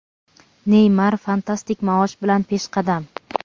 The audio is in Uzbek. Neymar fantastik maosh bilan peshqadam.